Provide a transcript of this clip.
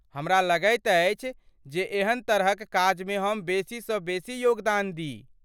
हमरा लगैत अछि जे एहन तरहक काजमे हम बेसीसँ बेसी योगदान दी।